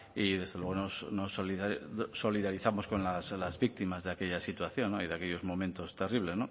y desde luego nos solidarizamos con las víctimas de aquella situación y de aquellos momentos terribles